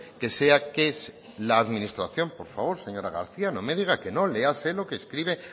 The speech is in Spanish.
que sea que es que la administración por favor señora garcía no me diga que no léase lo que escribe